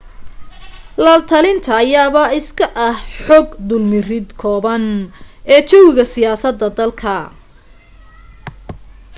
latalinta ayaaba iska ah xog dulmarid kooban ee jawiga siyaasada dalka